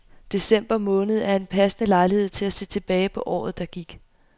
December måned er en passende lejlighed til at se tilbage på året, der gik.